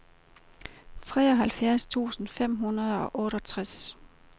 treoghalvfjerds tusind fem hundrede og otteogtres